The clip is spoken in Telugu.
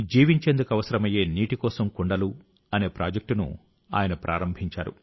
జీవించేందుకు అవసరమయ్యే నీటి కోసం కుండలు అనే ప్రాజెక్టును ఆయన ప్రారంభించారు